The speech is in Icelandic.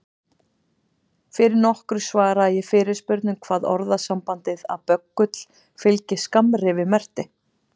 Fyrir nokkru svaraði ég fyrirspurn um hvað orðasambandið að böggull fylgi skammrifi merkti.